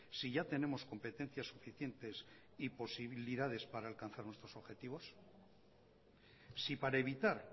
si ya tenemos competencias suficientes y posibilidades para alcanzar nuestros objetivos si para evitar